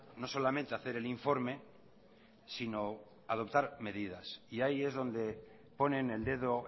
no solamente hacer el informe sino adoptar medidas y ahí es donde ponen el dedo